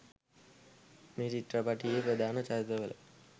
මේ චිත්‍රපටයේ ප්‍රධාන චරිත වල